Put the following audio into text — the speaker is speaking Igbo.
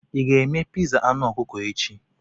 Ị ga-eme pizza anụ ọkụkọ echi?